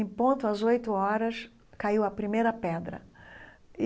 Em ponto, às oito horas, caiu a primeira pedra e.